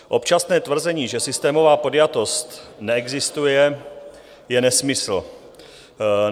Občasné tvrzení, že systémová podjatost neexistuje, je nesmysl.